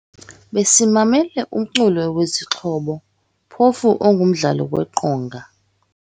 Besimamele umculo wezixhobo phofu ongumdlalo weqonga.